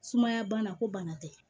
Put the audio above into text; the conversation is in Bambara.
Sumaya bana ko bana tɛ